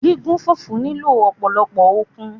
Gígún fùfú nílò ọ̀pọ̀lọ́pọ̀ okun